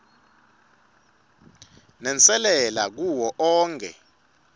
nenselela kuwo onkhe